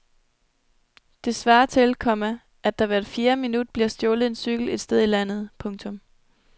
Det svarer til, komma at der hvert fjerde minut bliver stjålet en cykel et sted i landet. punktum